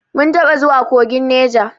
Mun taɓa zuwa kogin Neja.